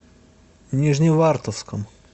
нижневартовском